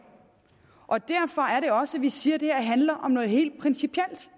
og derfor er det også vi siger at det her handler om noget helt principielt